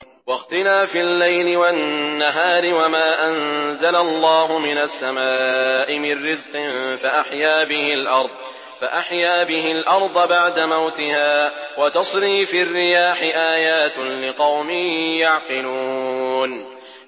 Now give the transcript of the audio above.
وَاخْتِلَافِ اللَّيْلِ وَالنَّهَارِ وَمَا أَنزَلَ اللَّهُ مِنَ السَّمَاءِ مِن رِّزْقٍ فَأَحْيَا بِهِ الْأَرْضَ بَعْدَ مَوْتِهَا وَتَصْرِيفِ الرِّيَاحِ آيَاتٌ لِّقَوْمٍ يَعْقِلُونَ